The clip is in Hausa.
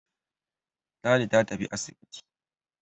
Ladi ta tafi asibiti.